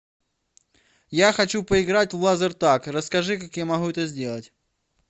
я хочу поиграть в лазертаг расскажи как я могу это сделать